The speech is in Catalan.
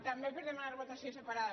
també per demanar votació separada